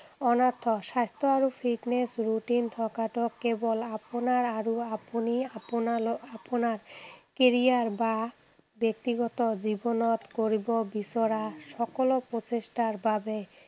অন্যথা। স্বাস্থ্য আৰু fitness ৰুটিন থকাটো কেৱল আপোনাৰ আৰু আপোনাৰ কেৰিয়াৰ বা ব্যক্তিগত জীৱনত কৰিব বিচৰা সকলো প্ৰচেষ্টাৰ বাবে